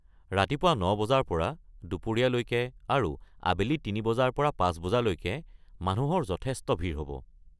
ৰাতিপুৱা ৯ বজাৰ পৰা দুপৰীয়ালৈকে আৰু আবেলি ৩ বজাৰ পৰা ৫ বজালৈকে মানুহৰ যথেষ্ট ভিৰ হ’ব।